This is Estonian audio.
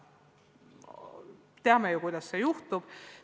Teame ju, kuidas see juhtub.